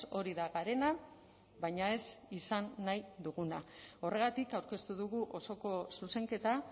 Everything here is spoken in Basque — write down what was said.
hori da garena baina ez izan nahi duguna horregatik aurkeztu dugu osoko zuzenketa